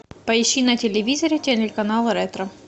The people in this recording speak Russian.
поищи на телевизоре телеканал ретро